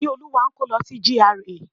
Ìníolúwa ń kó lọ sí GRA.